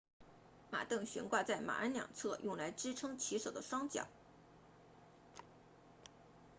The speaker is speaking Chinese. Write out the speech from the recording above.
马镫悬挂在马鞍两侧用来支撑骑手的双脚